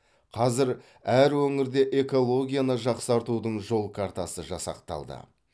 қазір әр өңірде экологияны жақсартудың жол картасы жасақталды